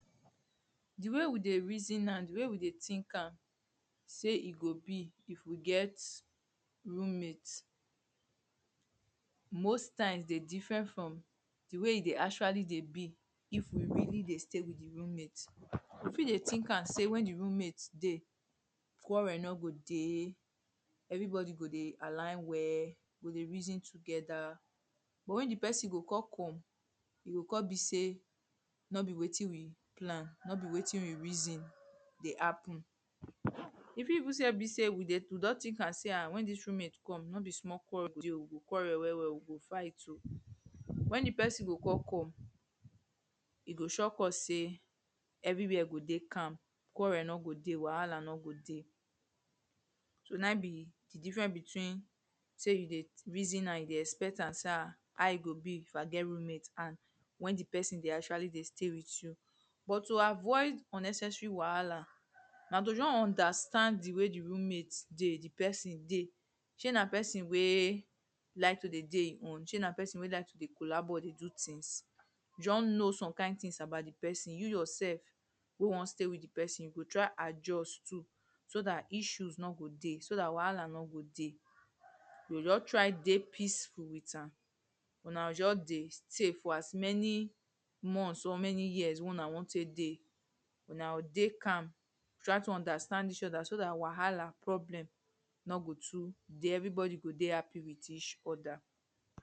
The way we dey reason am, the way we dey think am say e go be if we get roommate most times dey different from the way e dey actually dey be if we really dey stay with the roommate. We fit dey think am sey when the roommate dey quarrel no go dey. Everybody go dey align well. We go dey reason together. But when the person go con come, e go con be sey no be wetin we planp. No be wetin we reason dey happen [2]. E fit even say be sey we dey we don think am sey ha when dis roommate come, no be small quarrel dey oh. We go quarrel well well. We go fight oh. Whe the person go con come, e go shock us sey, everywhere go dey calm. Quarrel no go dey, wahala no go dey. So na im be the different between sey you dey reason am. You dey expect am sey han, how e go be if i get roommate?and When the person dey actually dey stay with you. But to avoid unnecessary wahala na to just understand the way the roommate dey. The person dey. Shey na person wey like to dey dey e own? Shey na person wey like to dey collabo or dey do things? Just know some kind things about the person. You yourself wey wan stay with the person you go try adjust too so dat issues no go dey. So dat wahala no go dey. You go just try dey peaceful with am. Huna go just dey stay for as many months or many years wey huna wan take dey. Huna o dey calm try to understand eachother so dat wahala problem no go too dey. Everybody go dey happy with eachother.